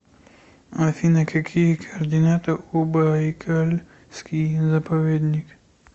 афина какие координаты у байкальский заповедник